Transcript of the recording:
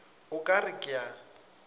o ka re ke a